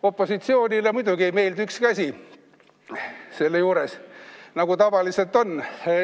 Opositsioonile muidugi ei meeldi ükski asi selle juures, nagu ikka.